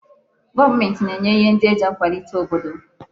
Goomenti na-enye ihe ndi eji akwalite obodo